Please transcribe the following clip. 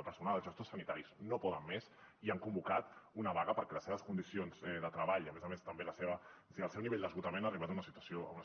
el personal els gestors sanitaris no poden més i han convocat una vaga perquè les seves condicions de treball a més a més també el seu nivell d’esgotament han arribat a una